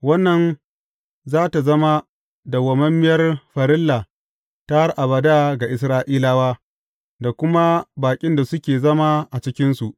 Wannan za tă zama dawwammamiyar farilla ta har abada ga Isra’ilawa, da kuma baƙin da suke zama a cikinsu.